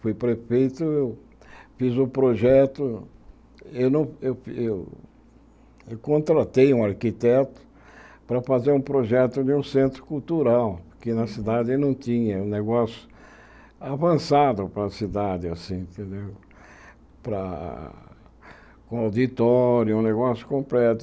Fui prefeito, eu fiz o projeto, eu não eu eu eu contratei um arquiteto para fazer um projeto de um centro cultural, que na cidade não tinha, um negócio avançado para a cidade, para com auditório, um negócio completo.